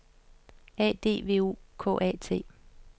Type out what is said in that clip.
A D V O K A T